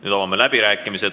Nüüd avame läbirääkimised.